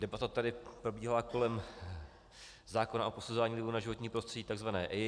Debata tady probíhala kolem zákona o posuzování vlivů na životní prostředí, takzvané EIA.